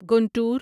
Guntur